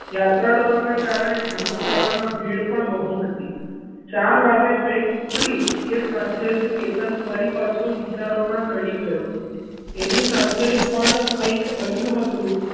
યાત્રાળુ ના કારણે ધર્મશાળામાં ભીડ પણ બહુ હતી ચાર વાગે train ઉપડી એ સાથે જ કેતન ફરી પાછો વિચારોમાં ચડી ગયો એની સાથે પણ એવું કંઈક બન્યું હતું.